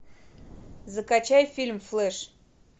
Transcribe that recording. закачай фильм флэш